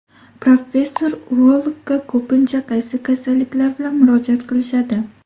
Professor, urologga ko‘pincha qaysi kasalliklar bilan murojaat qilishadi?